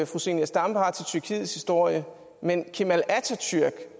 fru zenia stampe har til tyrkiets historie men kemal atatürk